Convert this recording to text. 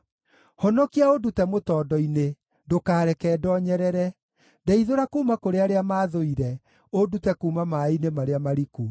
Honokia ũndute mũtondo-inĩ, ndũkareke ndoonyerere; ndeithũra kuuma kũrĩ arĩa maathũire, ũndute kuuma maaĩ-inĩ marĩa mariku.